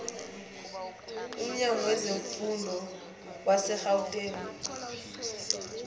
umnyango wezemfundo wasegauteng